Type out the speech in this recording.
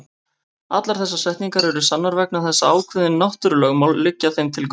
Allar þessar setningar eru sannar vegna þess að ákveðin náttúrulögmál liggja þeim til grundvallar.